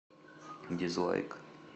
дизлайк